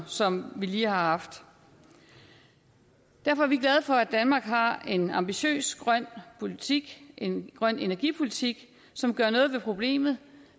som vi lige har haft derfor er vi glade for at danmark har en ambitiøs grøn politik en grøn energipolitik som gør noget ved problemet